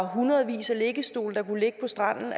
hundredvis af liggestole på stranden